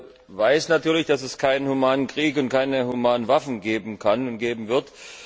Ich weiß natürlich, dass es keinen humanen Krieg und keine humanen Waffen geben kann und geben wird.